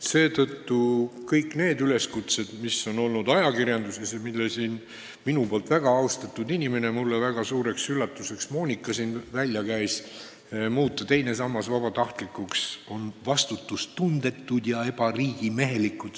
Seetõttu kõik need üleskutsed, mis on olnud ajakirjanduses ja mille siin minu poolt väga austatud Monika mulle väga suureks üllatuseks välja käis – muuta teine sammas vabatahtlikuks –, on vastutustundetud ja ebariigimehelikud.